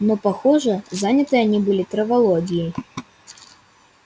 но похоже заняты они были травологией